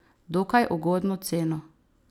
Dokaj ugodno ceno.